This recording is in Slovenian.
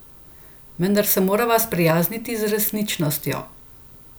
Vendar se morava sprijazniti z resničnostjo.